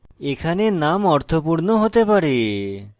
এখানে names অর্থপূর্ণ হতে হবে